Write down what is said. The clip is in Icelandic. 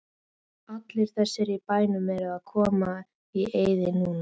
Allir þessir bæir eru komnir í eyði núna.